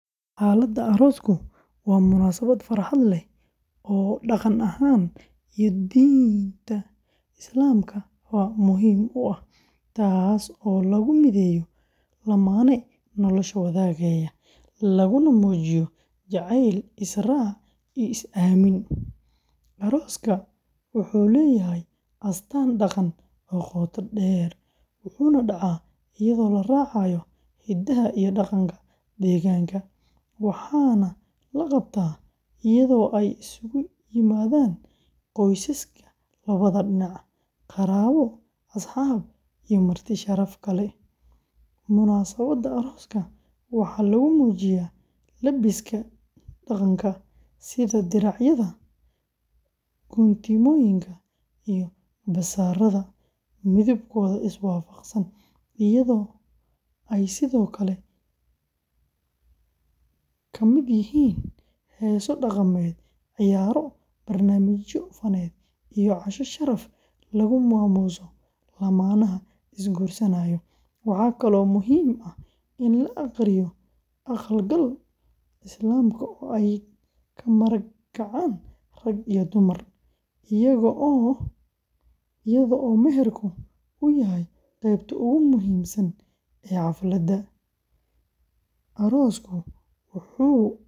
Xafladda aroosku waa munaasabad farxad leh oo dhaqan ahaan iyo diinta Islaamka ba muhiim u ah, taas oo lagu mideeyo lamaane nolosha wadaagaya, laguna muujiyo jacayl, is-raac iyo is-aamin. Arooska wuxuu leeyahay astaan dhaqan oo qoto dheer, wuxuuna dhacaa iyadoo la raacayo hidaha iyo dhaqanka deegaanka, waxaana la qabtaa iyadoo ay isugu yimaadaan qoysaska labada dhinac, qaraabo, asxaab iyo marti sharaf kale. Munaasabadda arooska waxaa lagu muujiyaa labiska dhaqanka, sida diracyada, guntimooyinka, iyo garbasaarada midabkooda iswaafaqsan, iyadoo ay sidoo kale ka mid yihiin heeso dhaqameed, ciyaaro, barnaamijyo faneed iyo casho sharaf lagu maamuuso lamaanaha is-guursanaya. Waxa kale oo muhiim ah in la aqriyo aqal-galka Islaamka oo ay ka marag kacaan rag iyo dumar, iyadoo meherka uu yahay qeybta ugu muhiimsan ee xafladda. Aroosku wuxuu xoojiyaa xiriirka.